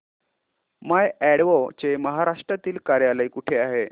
माय Advo चे महाराष्ट्रातील कार्यालय कुठे आहे